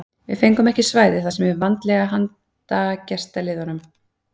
Við fengum ekki svæðið sem er vanalega handa gestaliðunum.